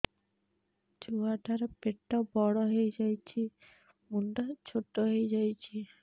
ଛୁଆ ଟା ର ପେଟ ବଡ ହେଇଯାଉଛି ମୁଣ୍ଡ ଛୋଟ ହେଇଯାଉଛି